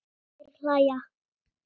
Þær hlæja.